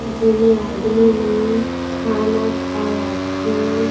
--जेमे आदमी मन खाना खाए आथे।